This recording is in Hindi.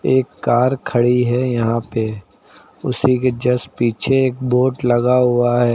एक कार खड़ी है यहां पे उसी के जस्ट पीछे एक बोर्ड लगा हुआ है।